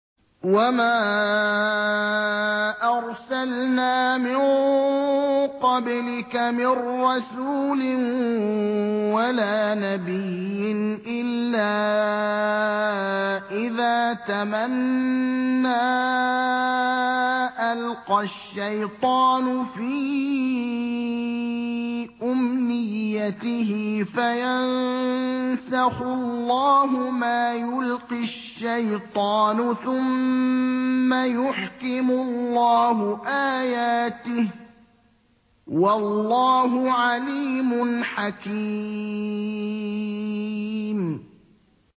وَمَا أَرْسَلْنَا مِن قَبْلِكَ مِن رَّسُولٍ وَلَا نَبِيٍّ إِلَّا إِذَا تَمَنَّىٰ أَلْقَى الشَّيْطَانُ فِي أُمْنِيَّتِهِ فَيَنسَخُ اللَّهُ مَا يُلْقِي الشَّيْطَانُ ثُمَّ يُحْكِمُ اللَّهُ آيَاتِهِ ۗ وَاللَّهُ عَلِيمٌ حَكِيمٌ